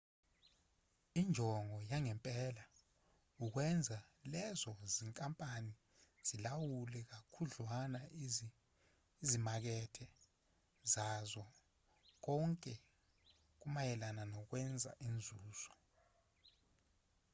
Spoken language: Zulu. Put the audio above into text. injongo yangempela ukwenza lezo zinkampani zilawule kakhudlwana izimakethe zazo konke kumayelana nokwenza inzuzo